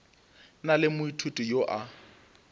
na le moithuti yo a